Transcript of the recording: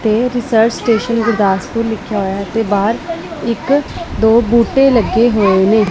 ਤੇ research station Gurdaspur ਲਿਖਿਆ ਹੋਇਆ ਤੇ ਬਾਹਰ ਇੱਕ ਦੋ ਬੂਟੇ ਲੱਗੇ ਹੋਏ ਨੇ।